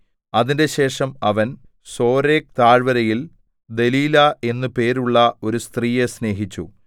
അതിന്‍റെശേഷം അവൻ സോരേക്ക് താഴ്വരയിൽ ദെലീലാ എന്ന് പേരുള്ള ഒരു സ്ത്രീയെ സ്നേഹിച്ചു